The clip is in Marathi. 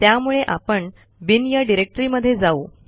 त्यामुळे आपण बिन या डिरेक्टरीमध्ये जाऊ